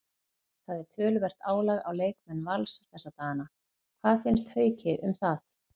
Það er töluvert álag á leikmenn Vals þessa dagana, hvað finnst Hauki um það?